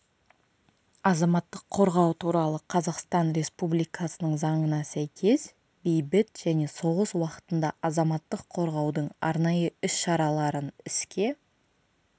азаматтық қорғау туралы қазақстан республикасының заңына сәйкес бейбіт және соғыс уақытында азаматтық қорғаудың арнайы іс-шараларын іске